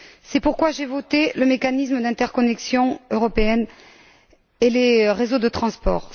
C'est pourquoi j'ai voté le mécanisme d'interconnexion européenne et les réseaux de transport.